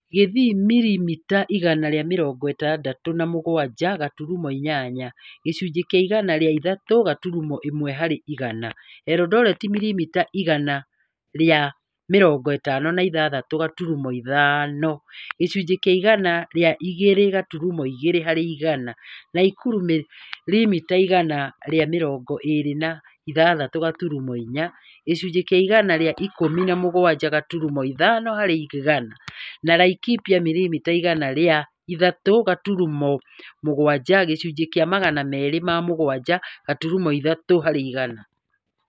Kisii mirimita igana rĩa mĩrongo ĩtandatũ na mũgwanja gaturumo inyanya (gĩcunjĩ kĩa igana ria ithatũ gaturumo ĩmwe harĩ igana), Eldoret mirimita igana rĩa mĩrongo ĩtano na ithathatũ gaturumo ithano (gĩcunjĩ kia igana rĩa igĩrĩ gaturumo igĩrĩ harĩ igana), Nakuru mirimita igana rĩa mĩrongo ĩĩri na ithathatũ gaturumo inya (gĩcunjĩ kĩa igana rĩa ikũmi na mũgwanja gaturumo ithano harĩ igana) na Laikipia mirimita igana rĩa ithatũ gaturumo mũgwanja (gĩcunjĩ kĩa Magana merĩ ma mũgwanja gaturumo ithatũ harĩ igana)